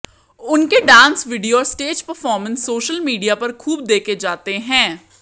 उनके dance video और stage performance social media पर खूब देखे जाते हैं